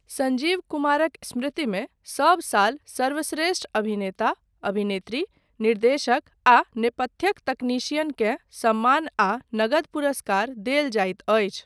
संजीव कुमारक स्मृतिमे सब साल सर्वश्रेष्ठ अभिनेता, अभिनेत्री, निर्देशक आ नेपथ्यक तकनीशियन केँ सम्मान आ नगद पुरस्कार देल जाइत अछि।